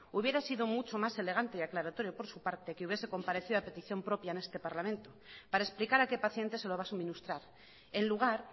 hubiera sido mucho más elegante y aclaratorio por su parte que hubiese compadecido a petición propia en este parlamento para explicar a qué pacientes se lo va a suministrar en lugar